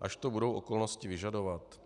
až to budou okolnosti vyžadovat?